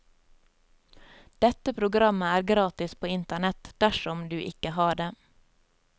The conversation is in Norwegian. Dette programmet er gratis på internett, dersom du ikke har det.